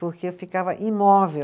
Porque eu ficava imóvel.